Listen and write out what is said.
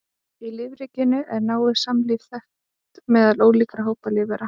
Í lífríkinu er náið samlífi þekkt meðal ólíkra hópa lífvera.